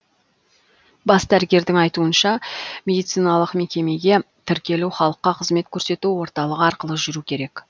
бас дәрігердің айтуынша медициналық мекемеге тіркелу халыққа қызмет көрсету орталығы арқылы жүру керек